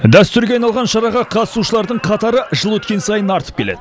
дәстүрге айналған шараға қатысушылардың қатары жыл өткен сайын артып келеді